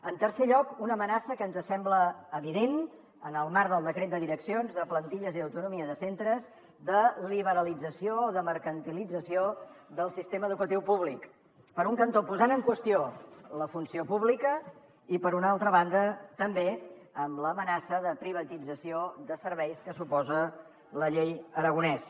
en tercer lloc una amenaça que ens sembla evident en el marc del decret de direccions de plantilles i autonomia de centres de liberalització o de mercantilització del sistema educatiu públic per un cantó posant en qüestió la funció pública i per una altra banda també amb l’amenaça de privatització de serveis que suposa la llei aragonès